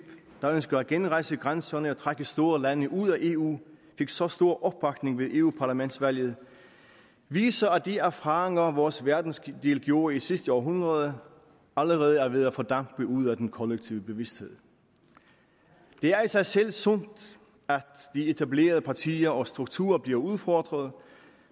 der ønsker at genrejse grænserne og trække store lande ud af eu fik så stor opbakning ved europaparlamentsvalget viser at de erfaringer vores verdensdel gjorde i sidste århundrede allerede er ved at fordampe ud af den kollektive bevidsthed det er i sig selv sundt at de etablerede partier og strukturer bliver udfordret